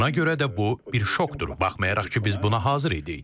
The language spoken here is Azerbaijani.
Buna görə də bu bir şokdur, baxmayaraq ki, biz buna hazır idik.